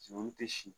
tɛ si